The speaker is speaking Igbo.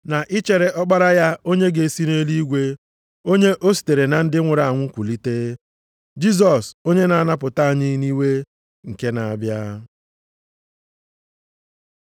na i chere Ọkpara ya onye ga-esi nʼeluigwe, onye o sitere na ndị nwụrụ anwụ kulite, Jisọs, onye na-anapụta anyị nʼiwe nke na-abịa.